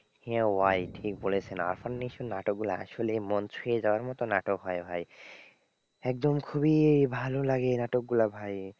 হ্যাঁ ভাই ঠিক বলেছেন আরফন নিশোর নাটকগুলো আসলে মন ছুঁয়ে যাওয়ার মতো নাটক হয় ভাই একদম খুবই ভালো লাগে নাটকগুলো ভাই।